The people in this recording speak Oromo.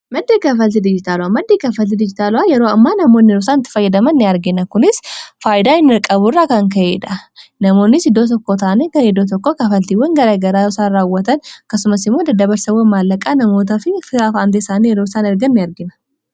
Maddii kaafalti dijitaala'a maddeni kaafalti dijitaala'aa yeroo ammaa namoonniroosaanitti fayyadaman ni argina. Kunis faayidaa hin qaburra kan ka’eedha. Namoonnis iddoo tokkotaan gara iddoo tokko kafaltiiwwan garagaraa isaan raawwatan kasumas imoo dada barsawwan maallaqaa namoota fi firotawwaan isaanii yeroo isaan ergan ni argina.